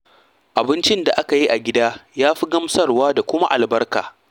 Abincin da aka yi a gida ya fi gamsarwa da kuma albarka.